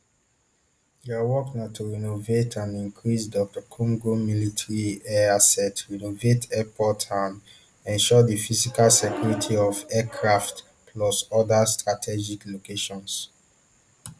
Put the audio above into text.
dia work na to renovate and increase dr congo military air assets renovate airports and ensure di physical security of aircraft plus oda strategic locations